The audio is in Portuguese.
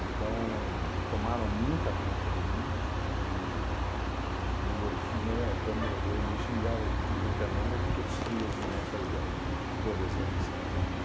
Então, tomaram muita conta de mim e minha irmã até morrer me xingava de tudo quanto é nome porque eu destruía as bonecas dela, todas elas.